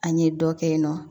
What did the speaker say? An ɲe dɔ kɛ in nɔ